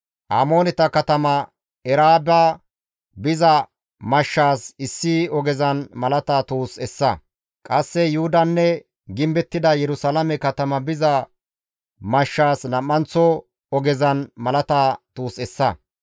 Amooneta katama Eraaba biza mashshaas issi ogezan malata tuus essa; qasse Yuhudanne gimbettida Yerusalaame katama biza mashshaas nam7anththo ogezan malata tuus essa.